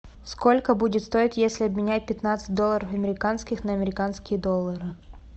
сколько будет стоить если обменять пятнадцать долларов американских на американские доллары